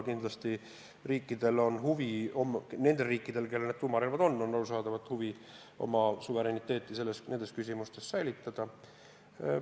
Kindlasti on nendel riikidel, kellel tuumarelvad on, huvi oma suveräniteet nendes küsimustes säilitada.